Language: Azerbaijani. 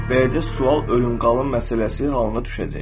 Beləcə, sual ölüm-qalım məsələsi halına düşəcək.